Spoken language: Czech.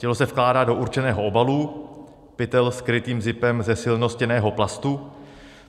Tělo se vkládá do určeného obalu, pytel s krytým zipem ze silnostěnného plastu.